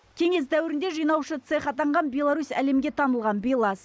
кеңес дәуірінде жинаушы цех атанған беларусь әлемге танылған белаз